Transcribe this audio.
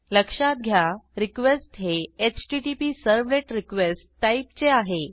लक्षात घ्या रिक्वेस्ट हे हॉटप्सर्व्हलेटरक्वेस्ट टाईपचे आहे